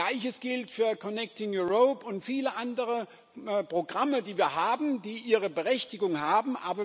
Gleiches gilt für Connecting Europe und viele andere Programme, die wir haben, die ihre Berechtigung haben.